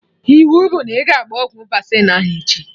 Iwu bụ na ị ga-agba ọgwụ vaccine ahụ echi!